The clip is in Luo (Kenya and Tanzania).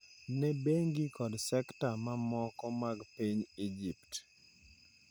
ne bengi kod sekta mamoko mag piny Egypt.